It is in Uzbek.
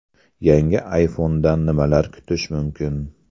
Yangi ayfondan nimalar kutish mumkin?